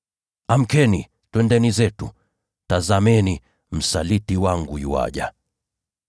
Inukeni, twende zetu! Tazameni, msaliti wangu yuaja!”